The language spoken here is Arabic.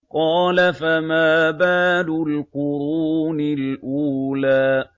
قَالَ فَمَا بَالُ الْقُرُونِ الْأُولَىٰ